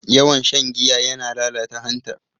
Yawan shan giya yana lalata hanta.